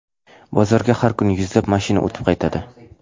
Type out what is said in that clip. Bozorga har kuni yuzlab mashina o‘tib qaytadi.